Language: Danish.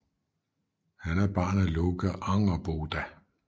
Han er barn af Loke og Angerboda